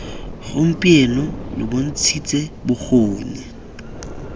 gompieno lo bont shitse bokgoni